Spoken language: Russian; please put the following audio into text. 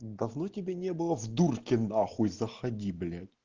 давно тебя не было в дурке нахуй заходи блять